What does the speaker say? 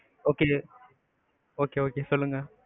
okay just okay, okay சொல்லுங்க.